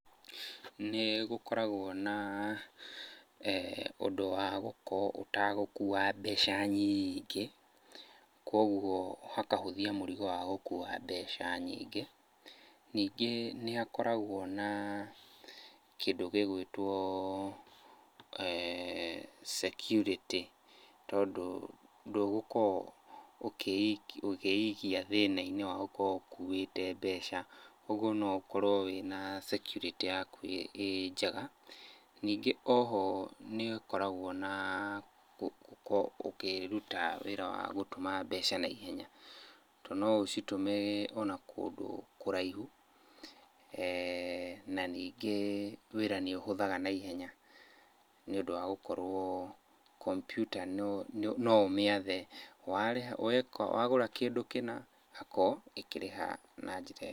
Nĩgũkoragwo na, ũndũ wa gũkorwo ũtagũkua mbeca nyiingĩ. Kuoguo hakahũthia mũrigo wa gũkua mbeca nyingĩ. Ningĩ nĩhakoragwo na kĩndũ gĩgũĩtwo security, tondũ ndũgũkorwo ũkĩikia thĩna-inĩ wa gũkorwo ũkuĩte mbeca, ũguo no ũkorwo wĩna security yaku ĩ njega. Ningĩ oho nĩũkoragwo na gũkorwo ũkĩruta wĩra wa gũtũma mbeca naihenya, tondũ no ũcitũme ona kũndũ kũraihu. Na ningĩ wĩra nĩũhũthaga naihenya nĩũndũ wa gũkorwo kombiuta no ũmĩathe, warĩha weka wagũra kĩndũ kĩna igakorwo ĩkĩrĩha na njĩra ĩyo.